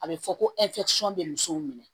A bɛ fɔ ko bɛ musow minɛ